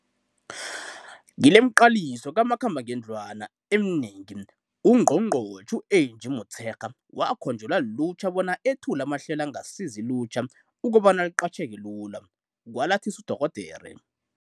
Kilemiqaliso kamakhambangendlwana eminengi, uNgqongqotjhe u-Angie Motshekga wakhonjelwa lilutjha bona ethule amahlelo angasiza ilutjha ukobana liqatjheke lula, kwalathisa uDorh.